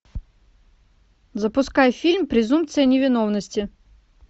запускай фильм презумпция невиновности